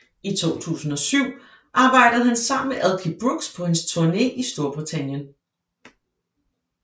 I 2007 arbejdede han sammen med Elkie Brooks på hendes turné i Storbritannien